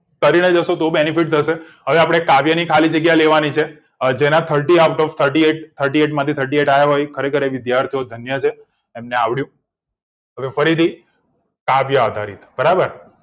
કરીને જશો તો benefit થશે હવે આપણે કાવ્ય ની ખાલી જગ્યા લેવાની છે જેના આડત્રીસ માંથી આડત્રીસ આવે ખરેખર એ વિદ્યાર્થીઓ ને ધન્ય છે એમને આવડ્યું હવે ફરીથી કાવ્ય આધારિત બરાબર